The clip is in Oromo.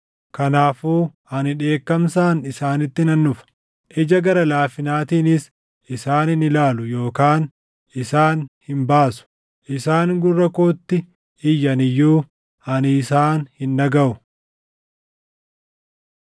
Kanaafuu ani dheekkamsaan isaanitti nan dhufa; ija gara laafinaatiinis isaan hin ilaalu yookaan isaan hin baasu. Isaan gurra kootti iyyan iyyuu, ani isaan hin dhagaʼu.”